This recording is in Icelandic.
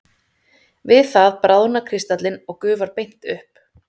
Við það bráðnar kristallinn eða gufar beint upp.